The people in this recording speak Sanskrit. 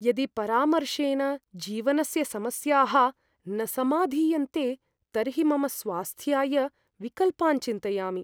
यदि परामर्शेन जीवनस्य समस्याः न समाधीयन्ते तर्हि मम स्वास्थ्याय विकल्पान् चिन्तयामि।